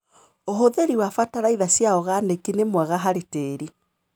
ũhũthĩri wa bataraitha cia organĩki nĩ wega harĩ tĩri.